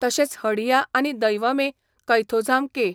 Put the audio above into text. तशेंच हडिया आनी दैवमे कैथोझाम के.